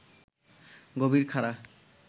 গভীর খাড়া